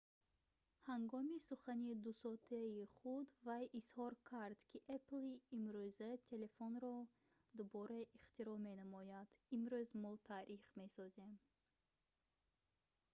ҳангоми сухани 2-соатаи худ вай изҳор кард ки «apple-и имрӯза телефонро дубора ихтироъ менамояд имрӯз мо таърих месозем